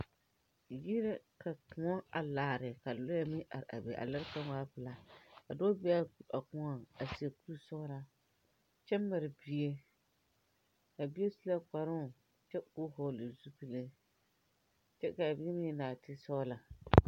Yiri la ka koɔ a laare ka lɔɛ a bebe a lɔɔre kaŋa waa pilaa a dɔɔ bèè a koɔŋ a seɛ kuri sɔglaa kyɛ mare bie a bie su la kparɔŋ kyɛ koo vɔgle zupile kyɛ kaa bieeŋ eŋ nɔɔti sɔglɔ.